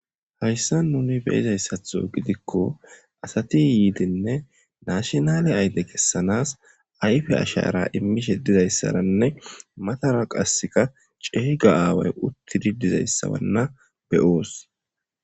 Hayssa nuni beyizayssatho gidikko asati yiidenne naashinale ayle kessanas ayfe ashara immishe dizayssaranne matara qasseka ceeyga aaway uttidi dizayssawanna beyoos.